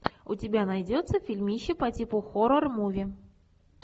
у тебя найдется фильмище по типу хоррор муви